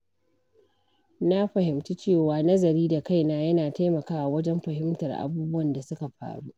Na fahimci cewa nazari da kaina yana taimakawa wajen fahimtar abubuwan da suka faru.